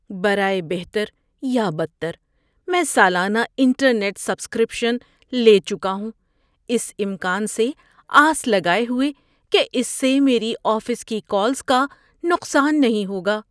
برائے بہتر یا بدتر، میں سالانہ انٹرنیٹ سبسکرپشن لے چکا ہوں، اس امکان سے آس لگائے ہوئے کہ اس سے میری آفس کی کالز کا نقصان نہیں ہوگا۔